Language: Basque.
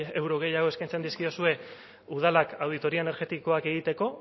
euro gehiago eskaintzen dizkiozue udalak auditoria energetikoak egiteko